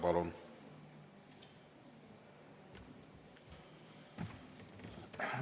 Palun!